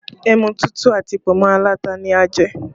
Ẹmu tútù àti pọ̀nmọ́ alata ni a jẹ